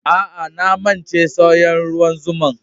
Aa, na mance saya'n ruwan zuma'n.